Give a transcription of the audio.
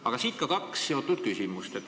Aga siit ka kaks küsimust.